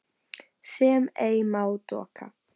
sem ei má doka